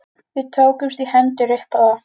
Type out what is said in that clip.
Við tókumst í hendur upp á það.